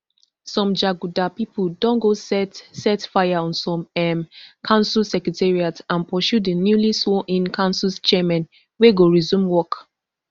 some jaguda pipo don go set set fire on some um council secretariats and pursue di newly sworn in council chairmen wey go resume work